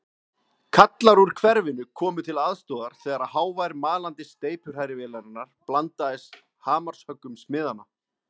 Kallar úr hverfinu komu til aðstoðar þegar hávær malandi steypuhrærivélarinnar blandaðist hamarshöggum smiðanna.